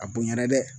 A bonyana dɛ